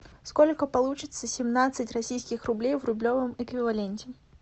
сколько получится семнадцать российских рублей в рублевом эквиваленте